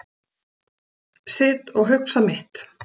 Sit og hugsa mitt.